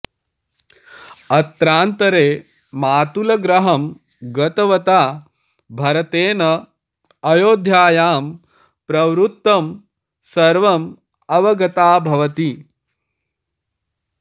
अत्रान्तरे मातुलगृहं गतवता भरतेन अयोध्यायां प्रवृत्तं सर्वम् अवगता भवति